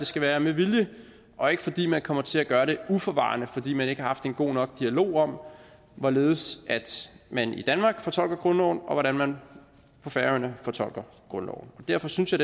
skal være med vilje og ikke fordi man kommer til at gøre det uforvarende fordi man ikke har haft en god nok dialog om hvorledes man i danmark fortolker grundloven og hvordan man på færøerne fortolker grundloven derfor synes jeg